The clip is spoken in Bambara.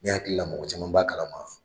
Ne hakili Ia mɔgɔ caman b'a kalama